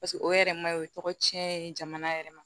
paseke o yɛrɛ ma o tɔgɔ cɛn ye jamana yɛrɛ ma